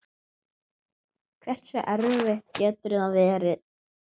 Hversu erfitt getur þetta verið?